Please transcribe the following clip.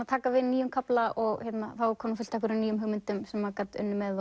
að taka við nýjum kafla og þá var komið fullt af nýjum hugmyndum sem maður gat unnið með